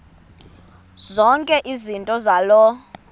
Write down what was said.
zonke izinto zaloo